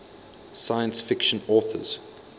science fiction authors